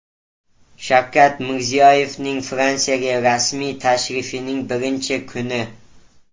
Shavkat Mirziyoyevning Fransiyaga rasmiy tashrifining birinchi kuni .